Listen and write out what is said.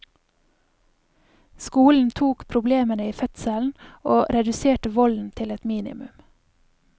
Skolen tok problemene i fødselen, og reduserte volden til et minimum.